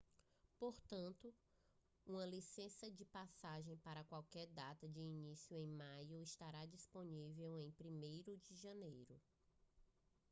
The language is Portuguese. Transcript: portanto uma licença de paisagem para qualquer data de início em maio estará disponível em 1° de janeiro